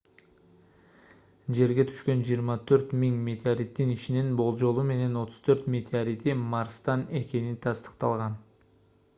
жерге түшкөн 24 000 метеориттин ичинен болжолу менен 34 меоторити марстан экени тастыкталган